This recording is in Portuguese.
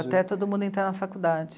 Até todo mundo entrar na faculdade.